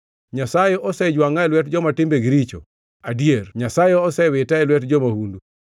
Nyasaye osejwangʼa e lwet joma timbegi richo adier Nyasaye osewita e lwet jo-mahundu.